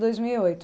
Dois mil e oito